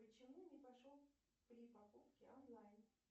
почему не прошел при покупке онлайн